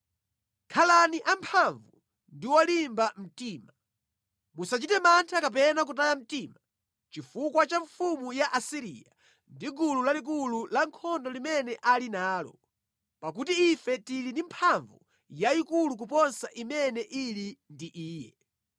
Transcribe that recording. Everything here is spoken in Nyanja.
“Khalani amphamvu ndi olimba mtima. Musachite mantha kapena kutaya mtima chifukwa cha mfumu ya ku Asiriya ndi gulu lalikulu lankhondo limene ali nalo, pakuti ife tili ndi mphamvu yayikulu kuposa imene ili ndi iye.